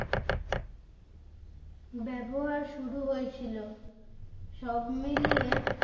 ব্যবহার শুরু হয়েছিল সব মিলিয়ে